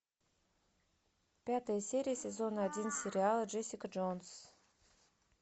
пятая серия сезона один сериала джессика джонс